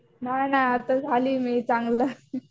नाही नाही आता झाली मी चांगलं.